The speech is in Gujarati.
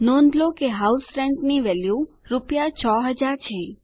નોંધ લો કે હાઉસ રેન્ટ ની વેલ્યુ રૂપિયા 6000 છે